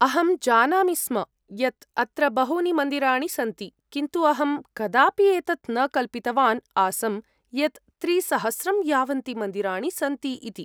अहं जानामि स्म यत् अत्र बहूनि मन्दिराणि सन्ति किन्तु अहं कदापि एतत् न कल्पितवान् आसं यत् त्रिसहस्रं यावन्ति मन्दिराणि सन्ति इति।